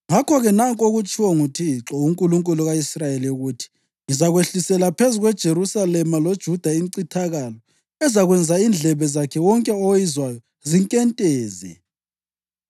ngakho-ke nanku okutshiwo nguThixo, uNkulunkulu ka-Israyeli ukuthi, Ngizakwehlisela phezu kweJerusalema loJuda incithakalo ezakwenza indlebe zakhe wonke oyizwayo zinkenteze.